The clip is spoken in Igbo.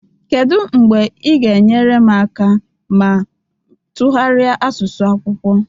Kedu mgbe ị ga-enyere m aka ma tụgharịa asụsụ akwụkwọ